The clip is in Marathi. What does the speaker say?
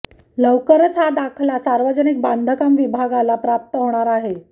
लवकरच हा दाखला सार्वजनिक बांधकाम विभागाला प्राप्त होणार आहे